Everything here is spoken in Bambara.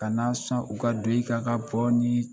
Kana na sɔn u ka don i kan ka bɔɔni nin ye